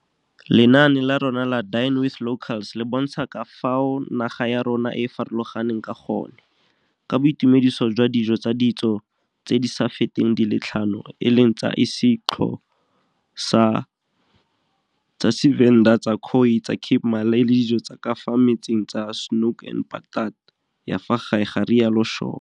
Lenaane la rona la Dine with Locals le bontsha ka fao naga ya rona e farologaneng ka gone, ka boitumediso jwa dijo tsa ditso tse di sa feteng di le tlhano, e leng tsa isiXho sa, tsa Tshivenda, tsa Khoi, tsa Cape Malay le dijo tsa ka fa metsing tsa Snoek en Patat, ya fa gae, ga rialo Shaw.